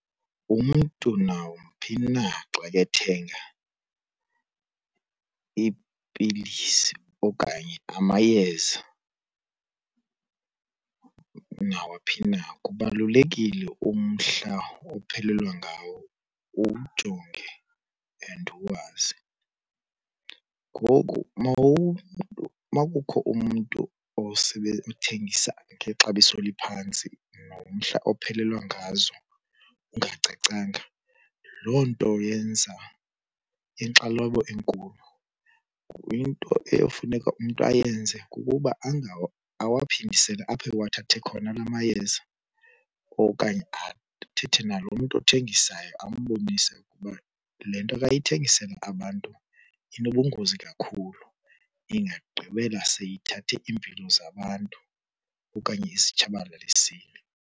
Umntu nawumphi na xa kethenga iipilisi okanye amayeza nawaphi na kubalulekile umhla ophelelwa ngawo uwujonge and uwazi. Ngoku uma kukho umntu othengisa ngexabiso eliphantsi nomhla ophelelwa ngazo ungacacanga loo nto yenza inkxalabo enkulu. Into efuneka umntu ayenze kukuba awaphindisele apho ewathathe khona la mayeza okanye athethe nalo mntu othengisayo ambonise ukuba le nto akayithengisela abantu inobungozi kakhulu ingagqibela seyithathe iimpilo zabantu okanye izitshabalalisile.